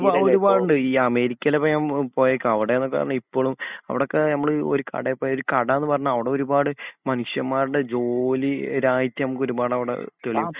ഒരുപാട് ഉണ്ട് ഈ അമേരിക്കയിൽ ഞാൻ പോയൊക്കെ അവിടെനോക്കെ പറഞ്ഞാൽ ഇപ്പോഴും അവിടൊക്കെ നമ്മൾ ഒരു കടയിൽ പോയാൽ ഒരു കടാന്ന് പറഞ്ഞാൽ അവിടെ ഒരുപാട് മനുഷ്യന്മാരുടെ ജോലി ഒരുപാട് നമുക്കവിടെ തെളിവ്